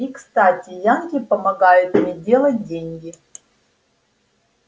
и кстати янки помогают мне делать деньги